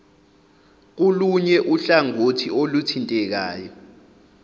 kulunye uhlangothi oluthintekayo